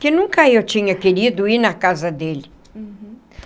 Que nunca eu tinha querido ir na casa dele. Uhum.